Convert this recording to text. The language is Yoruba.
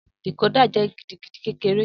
Decoder jẹ gidigidi kekere.